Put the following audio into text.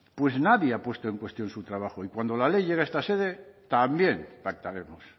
pues nadie ha puesto en cuestión su trabajo y cuando la ley llegue a esta sede también pactaremos